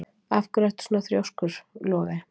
Af hverju ertu svona þrjóskur, Logey?